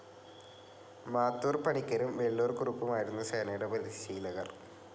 മാത്തൂർ പണിക്കരും, വെള്ളൂർ കുറുപ്പുമായിരുന്നു സേനയുടെ പരിശീലകർ.